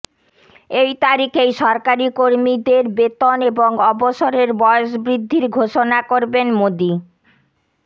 এই তারিখেই সরকারি কর্মীদের বেতন এবং অবসরের বয়স বৃদ্ধির ঘোষণা করবেন মোদী